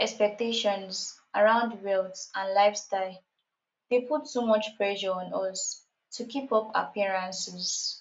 social expectations around wealth and lifestyle dey put too much pressure on us to keep up appearances